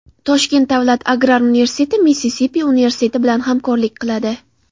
Toshkent davlat agrar universiteti Missisipi universiteti bilan hamkorlik qiladi.